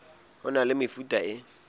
ho na le mefuta e